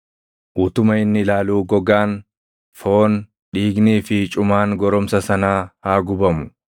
Utuma inni ilaaluu gogaan, foon, dhiignii fi cumaan goromsa sanaa haa gubamu.